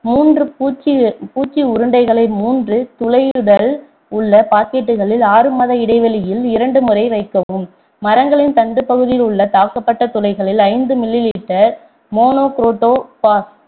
மூன்று பூச்சி பூச்சி உருண்டைகளை மூன்று துளையுடன் உள்ள packet களில் ஆறு மாத இடைவெளியில் இரண்டு முறை வைக்கவும் மரங்களின் தண்டுப்பகுதியில் உள்ள தாக்கப்பட்ட துளைகளில் ஐந்து mililiter மோனோகுரோட்டோ பாஸ்